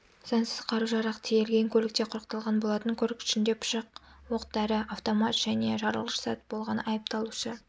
заңсыз қару-жарақ тиелген көлікте құрықталған болатын көлік ішінде пышық оқ дәрі автомат және жарылғыш зат болған айыпталушы